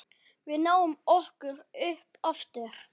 Við náum okkur upp aftur.